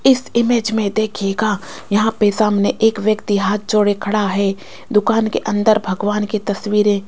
इस इमेज में देखिएगा यहां पे सामने एक व्यक्ति हाथ जोड़े खड़ा है दुकान के अंदर भगवान की तस्वीरें --